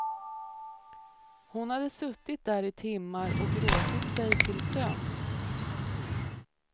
Hon hade suttit där i timmar och gråtit sig till sömns.